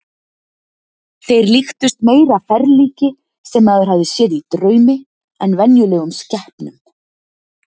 Þeir líktust meira ferlíki sem maður hafði séð í draumi en venjulegum skepnum.